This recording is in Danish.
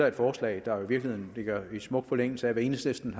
et forslag der i virkeligheden ligger i smuk forlængelse af hvad enhedslisten